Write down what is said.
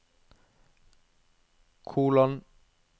kolon